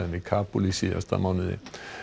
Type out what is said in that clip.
í Kabúl í síðasta mánuði